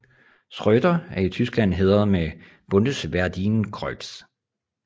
Schröder er i Tyskland hædret med Bundesverdienstkreuz